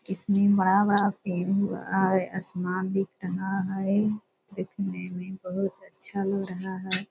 इसमें बड़ा-बड़ा पेड़ दिख रहा है आसमान दिख रहा है देखने में बहुत अच्छा लग रहा है ।